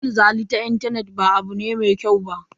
Cin zali ta intanet ba abu ne mai kyau ba.